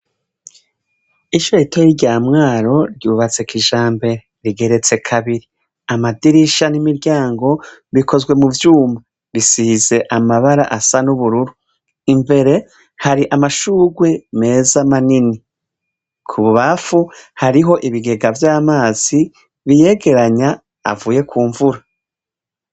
ishure ritoya rya mwaro ryubatse kijambere rigeretse kabiri amadirisha n'imiryango bikozwe mu byuma bisize amabara asa n'ubururu imbere hari amashugwe meza manini ku bubafu hariho ibigega by'amazi biyegeranya avuye ku mvura